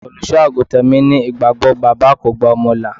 Olùsọ-àgùntàn mi ní ìgbàgbọ́ bàbá kò gba ọmọ là.